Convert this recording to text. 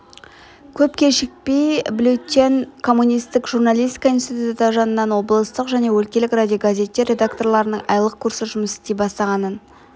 көп кешікпей бюллетень коммунисттік журналистика институты жанынан облыстық және өлкелік радиогазеттер редакторларының айлық курсы жұмыс істей бастағанын